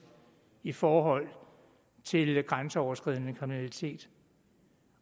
i forhold til grænseoverskridende kriminalitet